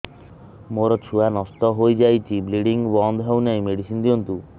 ମୋର ଛୁଆ ନଷ୍ଟ ହୋଇଯାଇଛି ବ୍ଲିଡ଼ିଙ୍ଗ ବନ୍ଦ ହଉନାହିଁ ମେଡିସିନ ଦିଅନ୍ତୁ